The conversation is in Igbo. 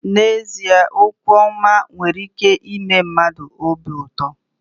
N'ezie okwu ọma nwere ike ime mmadụ obi ụtọ.